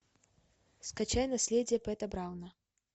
скачай наследие пэта брауна